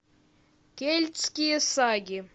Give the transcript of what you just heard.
кельтские саги